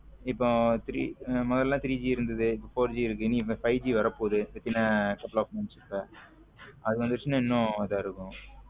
இப்ப three மோதலாம் three G இருந்தது இப்போ four G இருக்கு five G வர போது இன்னும் couple of month ல அது வந்துச்சுன இன்னும் இதுவா இருக்கும்